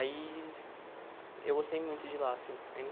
Aí, eu gostei muito de lá, assim,